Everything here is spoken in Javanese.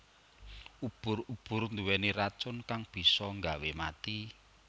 Ubur ubur nduweni racun kang bisa nggawe mati